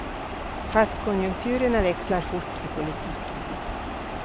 Fast konjunkturerna växlar fort i politiken.